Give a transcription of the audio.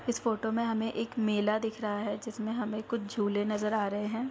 इस फोटो मे हमे एक मेला दिख रहा है जिसमे हमे कुछ झूले नजर आ रहे है।